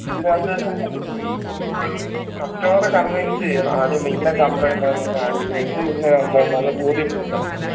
ഇതിനാത്തെ customer നെ convince എയ്യണം ആദ്യം ഇന്ന complaint ആന്ന് കാണിച്ച് കൊടുത്ത് ഇന്ന complaint ആന്ന് ബോധ്യപ്പെടുത്തണം